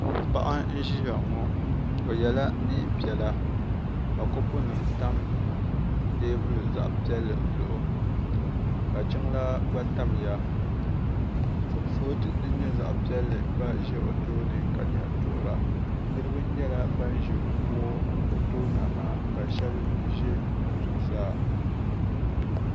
paɣ' n ʒɛya ŋɔ o yɛla nɛnpiɛlla ka kopu nim tam tɛbuli nɛm zuɣ' ka jinlaa gba tamiya kuriƒɔtɛ din nyɛ zaɣ' piɛli ʒɛ o tuuni ka doɣiri niriba nyɛla ban ʒɛ kuɣ' o tuuniha ka shɛbi ʒɛ zuɣ' saa